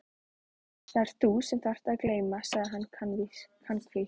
Það ert þú sem þarft að gleyma sagði hann kankvís.